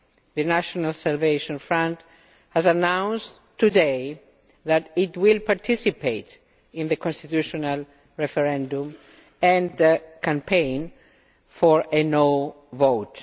The National Salvation Front has announced today that it will participate in the constitutional referendum and campaign for a no' vote.